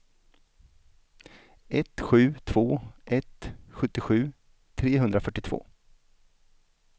ett sju två ett sjuttiosju trehundrafyrtiotvå